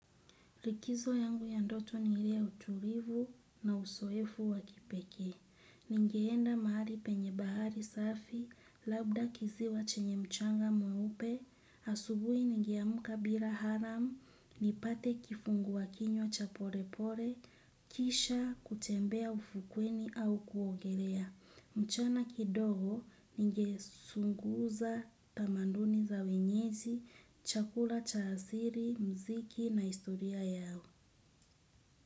Likizo yangu ya ndoto ni ile ya utulivu na uzoefu wa kipekee. Ningeenda mahali penye bahari safi, labda kiziwa chenye mchanga mweupe. Asubuhi ningeamka bila alarm, nipate kifungua kinywa cha pole pole, kisha kutembea ufukweni au kuogelea. Mchana kidogo ningechunguza tamanduni za wenyeji, chakula cha asili, muziki na historia yao.